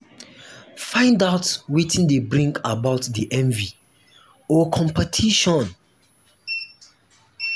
find out wetin de bring about di envy or competition